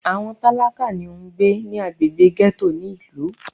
Àwọn tálákà ni ó ń gbé ní agbègbè gẹ́tò ní ìlú.